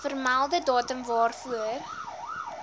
vermelde datum waarvoor